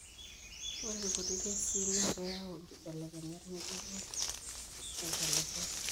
Ore irkuti kesii naa keyau inkibelekenyat ng'ejuko tentalipa.